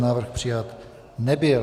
Návrh přijat nebyl.